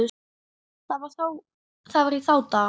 Þetta var í þá daga.